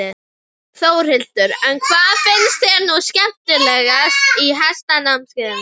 Þórhildur: En hvað finnst þér nú skemmtilegast í hestamennskunni?